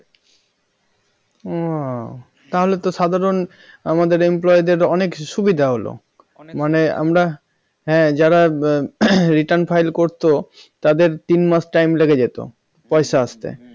ও তাহলে তো সাধারন আমাদের employee দের অনেক সুবিধা হলো মানে আমরা হ্যাঁ যারা return file করত তাদের তিন মাস time লেগে যেত পয়সা আসতে